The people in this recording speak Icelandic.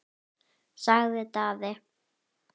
sagði Daði.